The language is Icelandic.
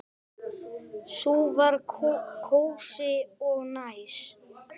Sú var kósí og næs.